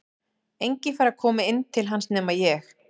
Enginn fær að koma inn til hans nema ég.